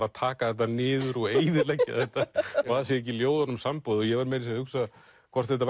að taka þetta niður og eyðileggja þetta það sé ekki ljóðunum samboðið ég var meira að hugsa hvort við